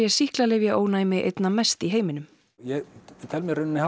sýklalyfjaónæmi einna mest í heiminum ég tel mig í rauninni